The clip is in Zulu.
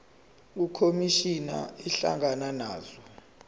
ukhomishana ehlangana nazo